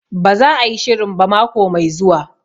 Ba za a yi shirin ba mako mai zuwa